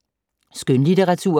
Skønlitteratur